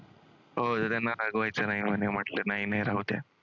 नाही मी राहूद्या.